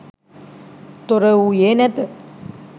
තොරවූයේ නැත.